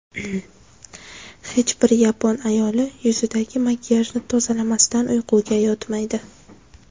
Hech bir yapon ayoli yuzidagi makiyajni tozalamasdan uyquga yotmaydi.